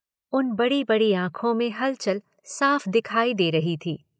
उन बड़ी बड़ी आंखों में हलचल साफ़ दिखाई दे रही थी।